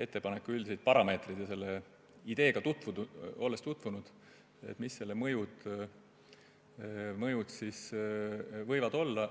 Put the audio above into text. ettepaneku üldiseid parameetreid ja olles selle ideega tutvunud – millised selle mõjud võivad olla.